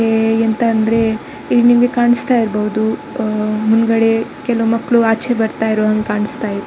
ಏ ಎಂತ ಅಂದ್ರೆ ಇಲ್ಲಿ ನಿಮಗೆ ಕಾಣಿಸ್ತಾ ಇರಬಹುದು ಹ್ಮ್ ಮುಂದುಗಡೆ ಕೆಲವು ಮಕ್ಕಳು ಆಚೆ ಬರ್ತಾ ಇರೋದು ಕಾಣಿಸ್ತಾ ಇದೆ.